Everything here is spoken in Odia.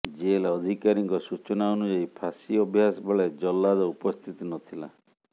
ଜେଲ ଅଧିକାରୀଙ୍କ ସୂଚନା ଅନୁଯାୟୀ ଫାଶୀ ଅଭ୍ୟାସ ବେଳେ ଜଲ୍ଲାଦ ଉପସ୍ଥିତ ନଥିଲା